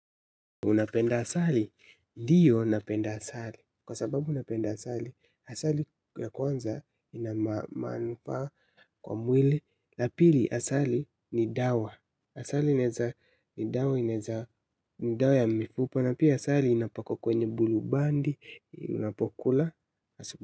Unapenda asali? Ndiyo asali. Kwa sababu napenda asali, asali ya kwanza inama manupa kwa mwili. La pili asali ni dawa. Asali laeza dawa inaeza ni dawa ya mifupa. Na pia asali inapakwa kwenye bulubandi. Unapokula.